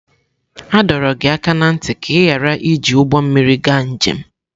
A dọrọ gị aka ná ntị ka ị ghara iji ụgbọ mmiri gaa njem!